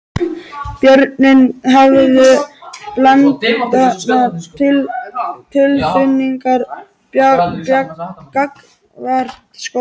Börnin höfðu blendnar tilfinningar gagnvart skólanum.